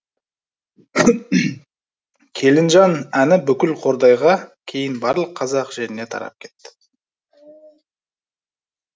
келінжан әні бүкіл қордайға кейін барлық қазақ жеріне тарап кетті